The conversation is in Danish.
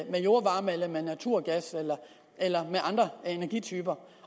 jordvarme naturgas eller andre energityper